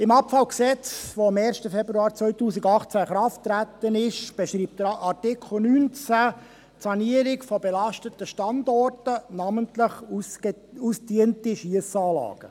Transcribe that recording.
Im Gesetz über die Abfälle (Abfallgesetz, AbfG), welches am 1. Februar 2018 in Kraft getreten ist, beschreibt Artikel 19 die Sanierung von belasteten Standorten, namentlich ausgediente Schiessanlagen.